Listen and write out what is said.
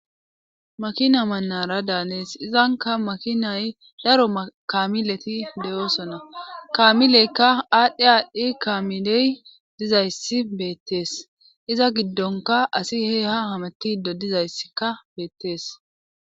makina mannara daanees izanka makinay daro mkamileti de7oosona kamileykka aadhdhe aadhdhi kaamiley dizayssi beettees iza giddonka asi heeha hamatido dizayssikka beettees